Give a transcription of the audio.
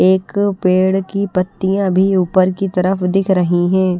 एक पेड़ की पत्तियां भी ऊपर की तरफ दिख रही है।